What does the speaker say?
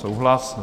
Souhlas.